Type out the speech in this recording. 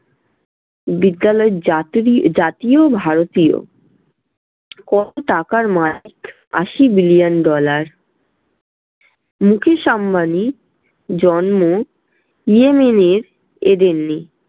বিদ্যালয়ের যাত্রীয়~ জাতীয় ভারতীয়। কত টাকার মালিক? আশি billion dollar মুকেশ আম্বানির জন্ম ইয়েমেনের এদেরনে